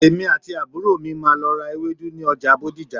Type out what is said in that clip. Èmi àti àbúrò mi máà lọ ra ewedu ni ọja Bódìjà.